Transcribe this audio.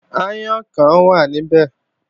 Aáyán kan wà níbẹ̀